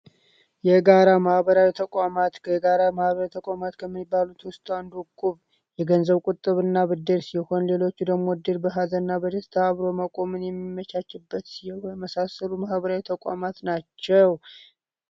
የጋራ ማህበራዊ ተቋማት ከጋራ ማህበራዊ ተቋማቶች ከሚባሉት ውስጥ አንዱ የገንዘብ ብድርና ተቋም ሲሆን ሌሎች ደግሞ እንደ እድር በሃዘንና እና ደስታ እቁብ የሚመቻችበት የመሳሰሉ ሲሆን ማህበራዊ ተቋማት ናቸው።